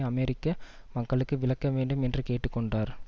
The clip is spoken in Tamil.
அமெரிக்க மக்களுக்கு விளக்க வேண்டும் என்று கேட்டு கொண்டார்